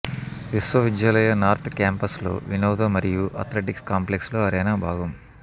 విశ్వవిద్యాలయ నార్త్ క్యాంపస్లో వినోద మరియు అథ్లెటిక్స్ కాంప్లెక్స్లో అరేనా భాగం